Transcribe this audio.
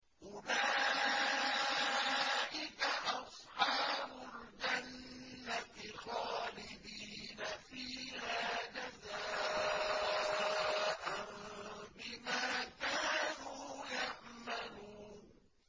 أُولَٰئِكَ أَصْحَابُ الْجَنَّةِ خَالِدِينَ فِيهَا جَزَاءً بِمَا كَانُوا يَعْمَلُونَ